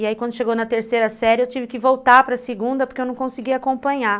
E aí quando chegou na terceira série eu tive que voltar para a segunda porque eu não conseguia acompanhar.